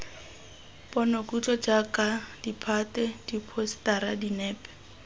ponokutlo jaaka ditphate diphousetara dinepe